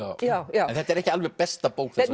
en þetta er ekki alveg besta bók þessa